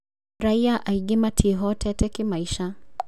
Raia aingĩ matiĩhotete kĩmaica